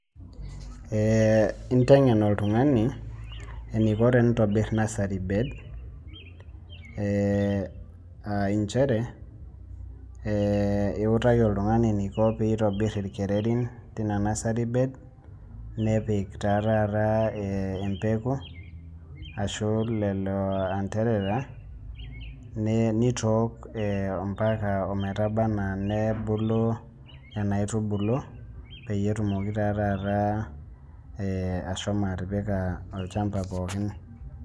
Eh intengen oltungani, eniko tenitobirr nursery bed aah nchere, iutaki oltungani eniko pee itobir irkererin tenia nursery bed, nepik taa taata embeku, ashu lelo antarara, nitook ambaka metaba enaa nebulu nianaaitubulu, peyie etumoki taa taata, ashomo atipika olchamba pookin